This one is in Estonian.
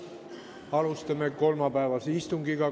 Alustame kolmapäevast istungit.